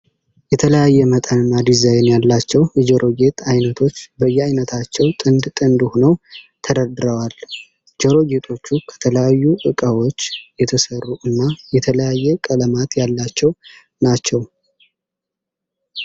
የተለያየ መጠን እና ዲዛይን ያላቸው የጆሮ ጌጥ አይነቶች በየአይነታቸው ጥንድ ጥንድ ሆነው ተደርድረዋል። ጆሮ ጌጦቹ ከተለያዩ እቃዎች የተሰሩ እና የተለያየ ቀለማት ያላቸው ናቸው።